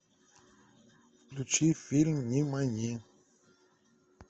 включи фильм нимани